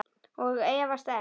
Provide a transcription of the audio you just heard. Og efast enn.